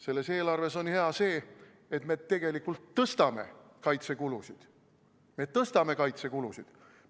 Selles eelarves on hea see, et me tegelikult tõstame kaitsekulusid.